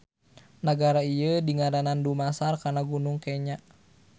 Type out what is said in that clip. Nagara ieu dingaranan dumasar kana Gunung Kenya.